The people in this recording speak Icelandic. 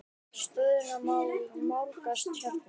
Stöðuna má nálgast hérna.